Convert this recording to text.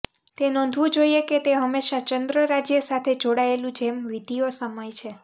તે નોંધવું જોઇએ કે તે હંમેશા ચંદ્ર રાજ્ય સાથે જોડાયેલું જેમ વિધિઓ સમય છે